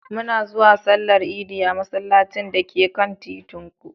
Muna zuwa Sallar Idi a masallacin da ke kan titin ku.